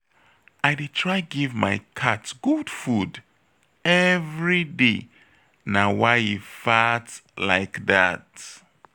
I dey try give my cat good food everyday na why e fat like dat